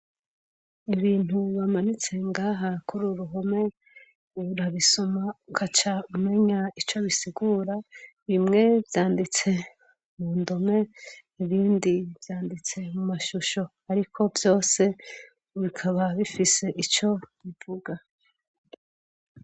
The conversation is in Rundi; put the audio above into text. Ibintu bamanitse ngaha kururu ruhome urabisoma ugaca umenya ico bisigura, bimwe vyanditseko mundome ibindi vyanditseko mumashushi ariko vyose bikaba bifise ico bivuga.